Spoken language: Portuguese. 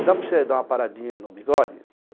E dá para você dar uma paradinha no bigode? Eu falei